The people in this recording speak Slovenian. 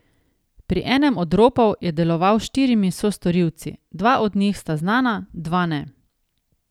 Pri enem od ropov je deloval s štirimi sostorilci, dva od njih sta znana, dva ne.